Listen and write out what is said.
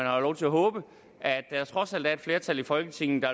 har da lov til at håbe at der trods alt er et flertal i folketinget